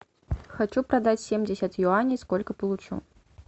хочу продать семьдесят юаней сколько получу